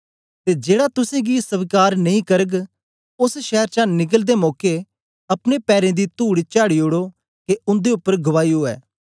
ते जेड़ा तुसेंगी स्वीकार नेई करग ओस शैर चा निकलदे मौके अपने पैरें दी तूड़ चाढ़ी ओड़ो के उन्दे उपर गवाही ऊऐ